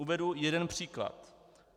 Uvedu jeden příklad.